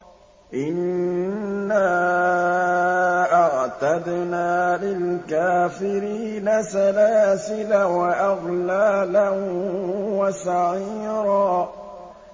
إِنَّا أَعْتَدْنَا لِلْكَافِرِينَ سَلَاسِلَ وَأَغْلَالًا وَسَعِيرًا